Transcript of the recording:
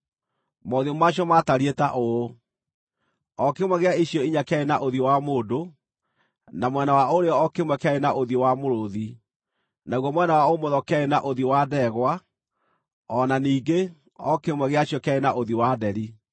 Mothiũ ma cio maatariĩ ta ũũ: O kĩmwe gĩa icio inya kĩarĩ na ũthiũ wa mũndũ, na mwena wa ũrĩo o kĩmwe kĩarĩ na ũthiũ wa mũrũũthi, naguo mwena wa ũmotho kĩarĩ na ũthiũ wa ndegwa; o na ningĩ, o kĩmwe gĩa cio kĩarĩ na ũthiũ wa nderi.